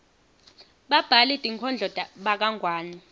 babhali tinkhondlo bakangwane